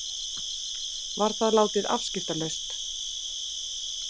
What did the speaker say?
Var það látið afskiptalaust.